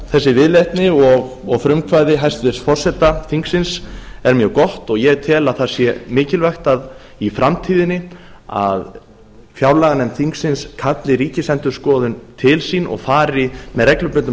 þessi viðleitni og frumkvæði hæstvirts forseta þingsins er því mjög gott og ég tel að það sé mikilvægt í framtíðinni að fjárlaganefnd þingsins kalli ríkisendurskoðun til sín og fari með reglubundnum